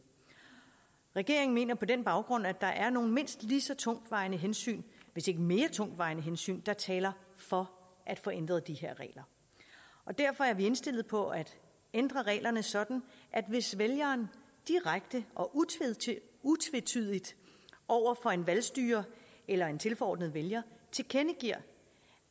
regeringen mener på den baggrund at der er nogle mindst lige så tungtvejende hensyn hvis ikke mere tungtvejende hensyn der taler for at få ændret de her regler derfor er vi indstillet på at ændre reglerne sådan at hvis vælgeren direkte og utvetydigt over for en valgstyrer eller en tilforordnet vælger tilkendegiver